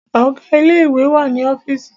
Ọ̀gá ilé ìwé wà ní ọ́fììsì.